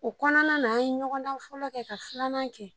O kɔnɔna na ,an ye ɲɔgɔn dan fɔlɔ kɛ ka filanan kɛ.